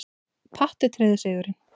Patti tryggði sigurinn.